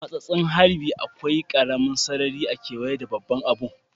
A'matsasen harbi ,akwai karemin sarari a'keweye da babban abun.